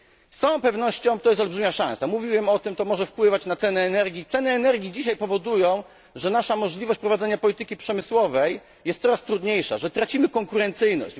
Z całą pewnością to jest olbrzymia szansa, mówiłem o tym, to może wpływać na ceny energii. Wysokość cen energii dzisiaj powoduje, że nasza możliwość prowadzenia polityki przemysłowej jest coraz trudniejsza, że tracimy konkurencyjność.